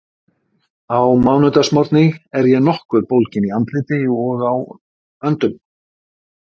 Á mánudagsmorgni er ég nokkuð bólgin í andliti og á höndum.